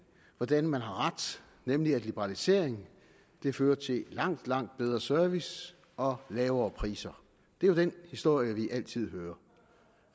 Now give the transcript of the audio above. hvordan man har ret nemlig at liberalisering fører til langt langt bedre service og lavere priser det er jo den historie vi altid hører